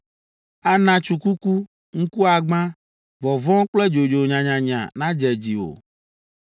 Ana tsukuku, ŋkuagbã, vɔvɔ̃ kple dzodzo nyanyanya nadze dziwò;